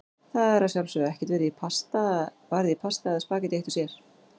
Það er að sjálfsögðu ekkert varið í pasta eða spaghetti eitt sér.